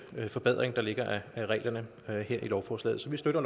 forbedring der ligger af reglerne her her i lovforslaget så vi støtter